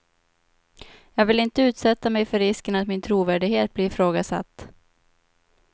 Jag vill inte utsätta mig för risken att min trovärdighet blir ifrågasatt.